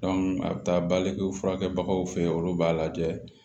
a bɛ taa balikew furakɛbagaw fe yen olu b'a lajɛ